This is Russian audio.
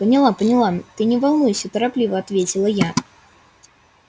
поняла поняла ты не волнуйся торопливо ответила я